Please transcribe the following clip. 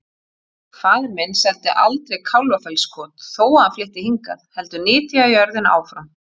Faðir minn seldi aldrei Kálfafellskot þó að hann flytti hingað, heldur nytjaði jörðina áfram.